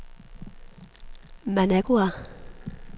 Managua